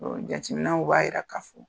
Ɔ jateminw b'a jira k'a fɔ